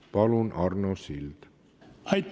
Palun, Arno Sild!